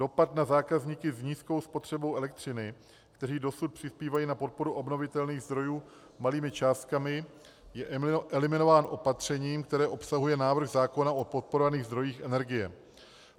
Dopad na zákazníky s nízkou spotřebou elektřiny, kteří dosud přispívají na podporu obnovitelných zdrojů malými částkami, je eliminován opatřením, které obsahuje návrh zákona o podporovaných zdrojích energie.